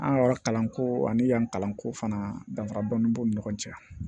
An yɔrɔ kalanko ani yan kalanko fana danfara dɔni b'u ni ɲɔgɔn cɛ